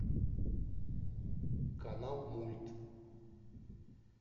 канал мульт